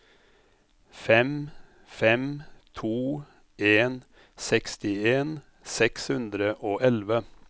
fem fem to en sekstien seks hundre og elleve